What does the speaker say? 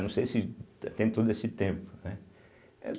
Não sei se tem todo esse tempo, né.